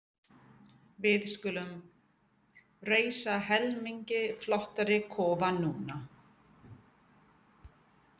Við skulum reisa helmingi flottari kofa núna.